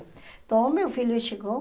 Então o meu filho chegou,